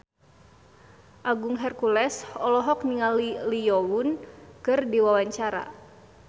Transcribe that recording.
Agung Hercules olohok ningali Lee Yo Won keur diwawancara